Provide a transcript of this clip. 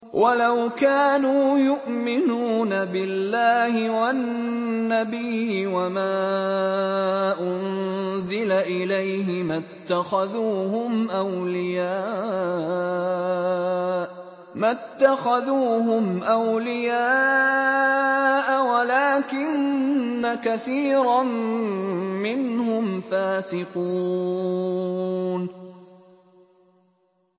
وَلَوْ كَانُوا يُؤْمِنُونَ بِاللَّهِ وَالنَّبِيِّ وَمَا أُنزِلَ إِلَيْهِ مَا اتَّخَذُوهُمْ أَوْلِيَاءَ وَلَٰكِنَّ كَثِيرًا مِّنْهُمْ فَاسِقُونَ